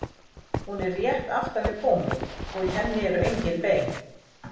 Hún er rétt aftan við góminn og í henni eru engin bein.